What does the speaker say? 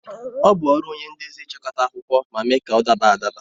Ọ bụ ọrụ onye ndezi ịchịkọta akụkọ ma mee ka ọ daba adaba